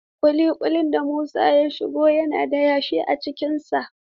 Ƙuli ƙulin da Musa ya shigo na da yashi a cikin sa.